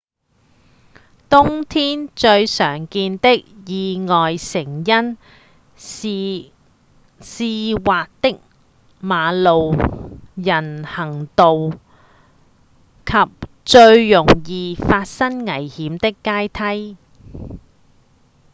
冬天最常見的意外成因是溼滑的馬路、人行道、及最容易發生危險的階梯